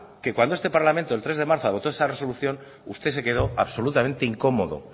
que cuando este parlamento el tres de marzo adoptó esa resolución usted se quedó absolutamente incomodo